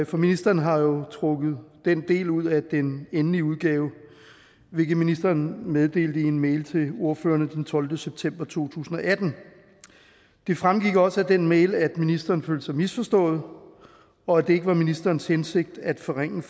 ministeren har jo trukket den del ud af den endelige udgave hvilket ministeren meddelte i en mail til ordførerne den tolvte september to tusind og atten det fremgik også af den mail at ministeren følte sig misforstået og at det ikke var ministerens hensigt at forringe